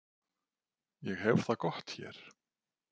Ég hef það gott hér.